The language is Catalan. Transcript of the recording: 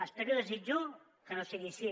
espero i desitjo que no sigui així